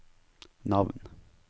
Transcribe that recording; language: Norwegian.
navn